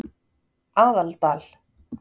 Aðaldal